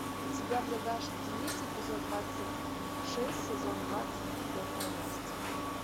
у тебя в загашнике есть эпизод двадцать шесть сезон двадцать бедная настя